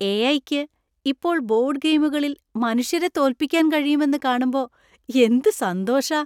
എ.ഐ.യ്ക്ക് ഇപ്പോൾ ബോർഡ് ഗെയിമുകളിൽ മനുഷ്യരെ തോൽപ്പിക്കാൻ കഴിയും എന്ന് കാണുമ്പോ എന്ത് സന്തോഷാ.